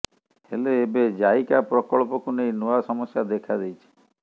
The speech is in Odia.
ହେଲେ ଏବେ ଜାଇକା ପ୍ରକଳ୍ପକୁ ନେଇ ନୂଆ ସମସ୍ୟା ଦେଖା ଦେଇଛି